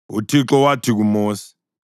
UThixo wathi kuMosi,